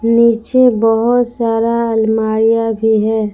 नीचे बहोत सारा अलमारियां भी है।